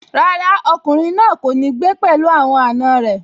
Rárá, ọkùnrin náà kò ní gbé pẹ̀lú àwọn àna rẹ̀